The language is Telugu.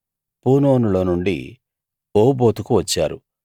పూనోనులో నుండి ఓబోతుకు వచ్చారు